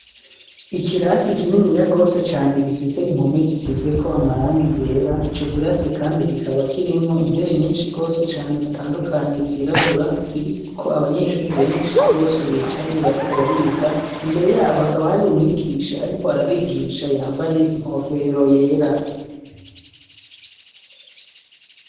Ikirasi kinini ya rwose cane gifise impome zisize ko amarangi yera ico kirasi kandi kikaba kirimwo intebe nyinshi rwose cane zitandukanye zirabura ziri ko abanyeshure benshi rwose bicaye bariko bariga imbere yabo hakaba hari umwigisha ariko arabigisha yambaye inkofero yera.